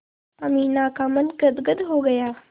अमीना का मन गदगद हो गया